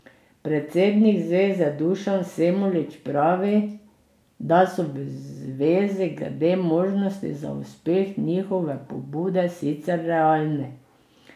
Predsednik zveze Dušan Semolič pravi, da so v zvezi glede možnosti za uspeh njihove pobude sicer realni.